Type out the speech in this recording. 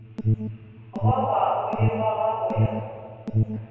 gogwago e gogwa go ya